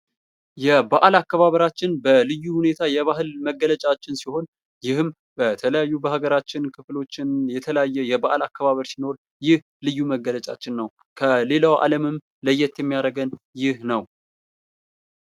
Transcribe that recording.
የበአል አከባበራችን በልዩ ሁኔታ የባህል መገለጫችን ሲሆን ይህም በተለያዩ በሀገራችን ክፍሎችም የተለያየ የባህል አከባበር ሲኖር ይህ ልዩ መገለጫችን ነው። ከሌላው አለምም ለየት የሚያደርገን ነው።